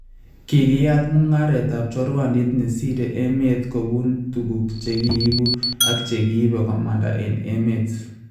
Kikiyaat mung�areetab chorwandiit nsiire emet kobuun tukuk chekiibu and chekiibe komanda en emet